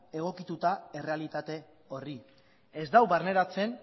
egokituta errealitate horri ez du barneratzen